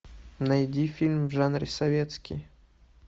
найди фильм в жанре советский